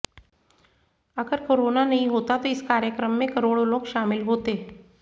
अगर कोरोना नहीं होता तो इस कार्यक्रम में करोड़ों लोग शामिल होते